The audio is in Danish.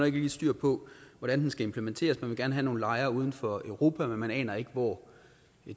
ikke lige styr på hvordan den skal implementeres man vil gerne have nogle lejre uden for europa men man aner ikke hvor